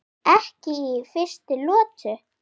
Ekki í fyrstu lotu!